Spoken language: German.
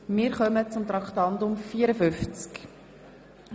Wir kommen zu Traktandum 54.